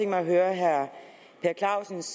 mig at høre herre per clausens